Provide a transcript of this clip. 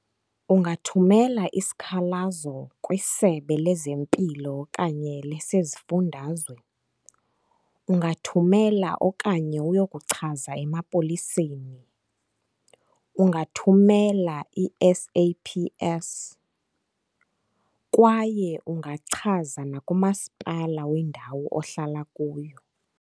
Ungathumela isikhalazo kwiSebe lezeMpilo okanye lesezifundazwe, ungathumela okanye uyokuchaza emapoliseni, ungathumela i-S_A_P_S kwaye ungachaza nakuMaspala wendawo ohlala kuyo.